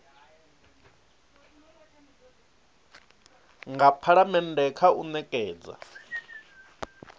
nga phalamennde kha u nekedza